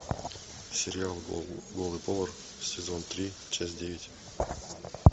сериал голый повар сезон три часть девять